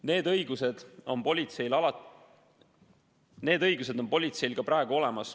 Need õigused on politseil ka praegu olemas.